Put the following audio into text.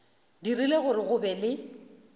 dirile gore go be le